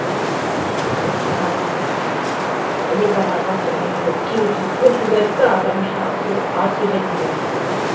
ммм жаңағы дұрыс болмады ыыы ілесе алмай қалды бірдеңе деп кейбір сөзді көп сөз айтты аудармашы аз сөз айтты деген сияқты